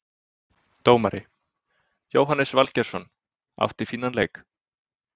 Dómari: Jóhannes Valgeirsson, átti fínan leik.